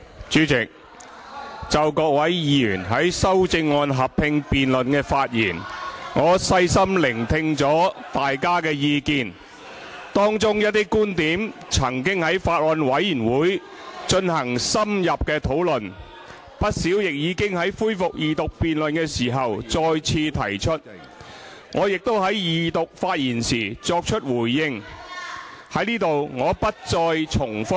主席，就各位議員在修正案合併辯論的發言，我細心聆聽大家的意見，當中一些觀點曾經在法案委員會進行深入的討論，不少亦已經在恢復二讀辯論時再次提出，我亦已在二讀發言時作出回應，在此我不再重複。